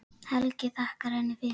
Helgi þakkaði henni fyrir.